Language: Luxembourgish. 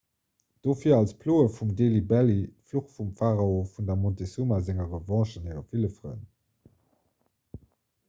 dofir also d'ploe vum delhi belly fluch vum pharao vun der montezuma senger revanche an hire ville frënn